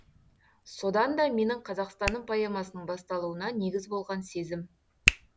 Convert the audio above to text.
содан да менің қазақстаным поэмасының басталуына негіз болған сезім